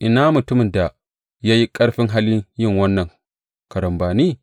Ina mutumin da ya yi ƙarfin halin yin wannan karambani?